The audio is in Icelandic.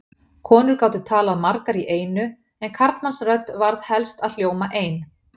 Konur gátu talað margar í einu en karlmannsrödd varð helst að hljóma ein.